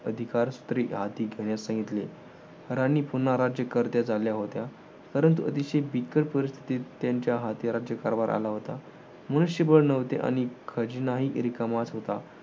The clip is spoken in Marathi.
अधिकार स्त्री हाती घेण्यास सांगितले. राणी पुन्हा राज्यकर्त्या झाल्या होत्या, परंतु अतिशय बिकट परिस्थितीत त्यांच्या हाती राज्यकारभार आला होता. मनुष्यबळ नव्हते. आणि खजिनाही रिकामाच होता.